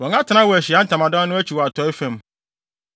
Wɔn atenae wɔ Ahyiae Ntamadan no akyi wɔ atɔe fam.